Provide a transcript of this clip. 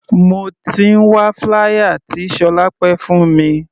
Mo ti ń wá flier tí Solape fún mi.